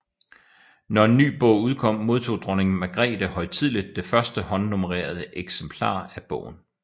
Når en ny bog udkom modtog dronning Magrethe højtideligt det første håndnummerede eksemplar af bogen